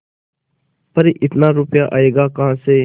पर इतना रुपया आयेगा कहाँ से